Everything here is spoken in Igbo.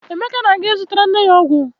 Emeka na-aga ịzụtara nne ya ọgwụ.